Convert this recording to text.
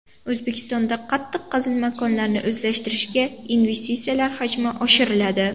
O‘zbekistonda qattiq qazilma konlarini o‘zlashtirishga investitsiyalar hajmi oshiriladi.